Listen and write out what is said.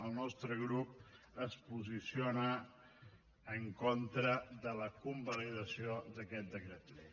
el nostre grup es posiciona en contra de la convalidació d’aquest decret llei